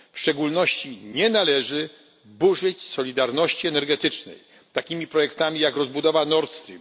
W szczególności nie należy burzyć solidarności energetycznej takimi projektami jak rozbudowa Nord Stream.